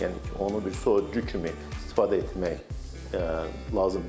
Yəni ki, onu bir soyuducu kimi istifadə etmək lazım deyil.